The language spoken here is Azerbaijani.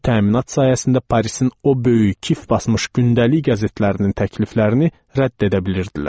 Bu təminat sayəsində Parisin o böyük, kif basmış gündəlik qəzetlərinin təkliflərini rədd edə bilirdilər.